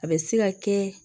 A bɛ se ka kɛ